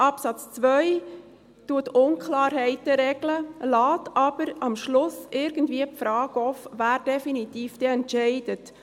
Absatz 2 regelt Unklarheiten, lässt aber am Schluss irgendwie die Frage offen, wer dann definitiv entscheidet.